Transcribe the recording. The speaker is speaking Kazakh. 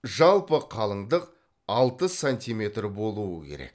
жалпы қалыңдық алты сантиметр болуы керек